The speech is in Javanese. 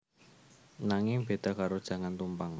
Nanging bèda karo jangan tumpang